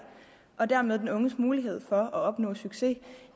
og dermed øge den unges mulighed for at opnå succes